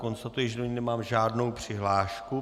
Konstatuji, že do ní nemám žádnou přihlášku.